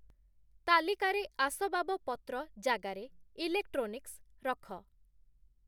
ତାଲିକାରେ ଆସବାବପତ୍ର ଜାଗାରେ ଇଲେକ୍ଟ୍ରୋନିକ୍ସ ରଖ